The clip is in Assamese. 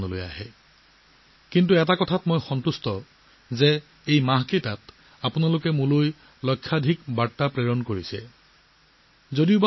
কিন্তু মোৰ এইটো দেখি বহুত ভাল লাগিছিল যে এই মাহবোৰত আপোনালোকে মোলৈ লাখ লাখ মেছেজ পঠালে